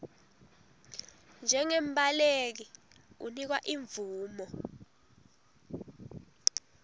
njengembaleki unikwa imvumo